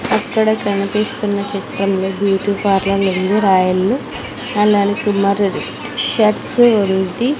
అక్కడ కనిపిస్తున్న చిత్రంలో బ్యూటీ పార్లర్ ఉంది రాయల్లు ఎల్_ఎల్ కుమార్ రెడ్డి షర్ట్సు ఉంది.